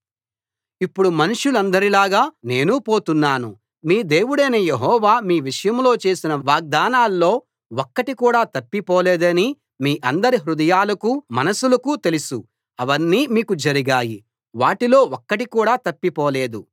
ఇప్పుడు మనుషులందరిలాగే నేనూ పోతున్నాను మీ దేవుడైన యెహోవా మీ విషయంలో చేసిన వాగ్దానాల్లో ఒక్కటికూడా తప్పిపోలేదని మీ అందరి హృదయాలకూ మనసులకూ తెలుసు అవన్నీ మీకు జరిగాయి వాటిలో ఒక్కటికూడా తప్పిపోలేదు